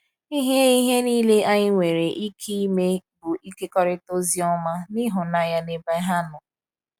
Ihe Ihe niile anyị nwere ike ime bụ ịkekọrịta Oziọma na ịhụnanya n’ebe ha nọ.